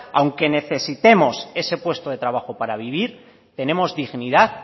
aunque necesitemos ese puesto de trabajo para vivir tenemos dignidad